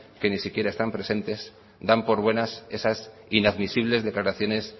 que ni siquiera están presentes dan por buenas esas inadmisibles declaraciones